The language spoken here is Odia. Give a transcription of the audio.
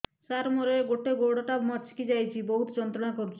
ସାର ମୋର ଗୋଡ ଟା ମଛକି ଯାଇଛି ବହୁତ ଯନ୍ତ୍ରଣା କରୁଛି